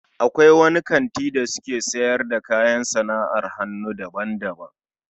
Akwai wani kanti da suke siyar da kayan sana'ar hannu daban-daban